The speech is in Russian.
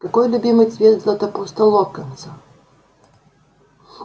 какой любимый цвет златопуста локонса